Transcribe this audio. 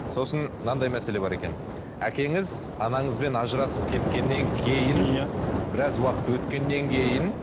сосын мынандай мәселе бар екен әкеңіз анаңызбен ажырасып кеткеннен кейін иә біраз уақыт өткеннен кейін